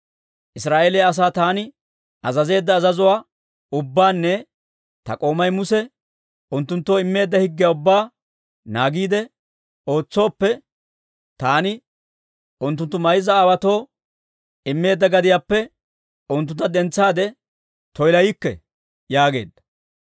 Israa'eeliyaa asaa taani azazeedda azazuwaa ubbaanne ta k'oomay Muse unttunttoo immeedda higgiyaa ubbaa naagiide ootsooppe, taani unttunttu mayza aawaatoo immeedda gadiyaappe unttuntta dentsaade toyilaykke» yaageedda.